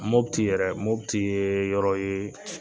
Mopti tɛ yɛrɛ Mopti ye yɔrɔ ye